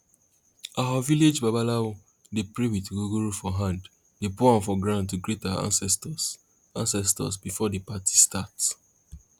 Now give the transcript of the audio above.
our village babalawo dey pray with ogogoro for hand dey pour am for ground to greet our ancestors ancestors before party start